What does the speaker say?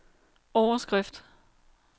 overskrift